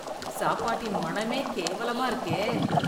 சாப்பாட்டின் மனமே கேவலமா இருக்கே.